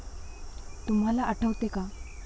तुम्हाला आठवते का?